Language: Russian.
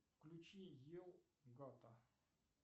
включи ел гата